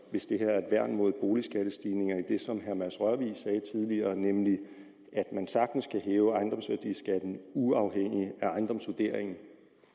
hvis det her er et værn mod boligskattestigninger enig i det som herre mads rørvig sagde tidligere nemlig at man sagtens kan hæve ejendomsværdiskatten uafhængig af ejendomsvurderingen